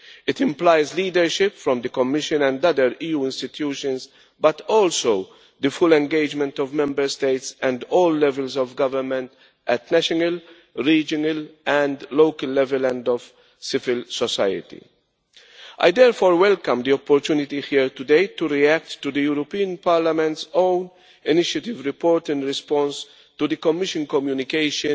It implies leadership from the Commission and other EU institutions, but also the full engagement of Member States and all levels of government at national, regional and local level and of civil society. I therefore welcome the opportunity here today to react to the European Parliament's own initiative report in response to the Commission communication